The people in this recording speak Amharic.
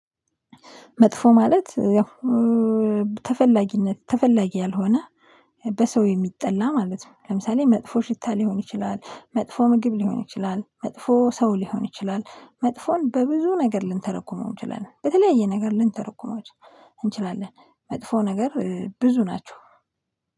መጥፎ ማለት ያው ተፈላጊነት ተፈላጊ ያልሆነ በሰው የሚጠላ ማለት ነው። ለምሳሌ መጥፎ ሽታ ሊሆን ይችላል መጥፎ ምግብ ሊሆን ይችላል መጥፎ ሰው ሊሆን ይችላል መጥፎን በብዙ ነገር ልንተረጉመው እንችላለን። በተለያየ ነገር ልንተረጉመው እንችላለን። መጥፎ ነገር ብዙ ናቸው።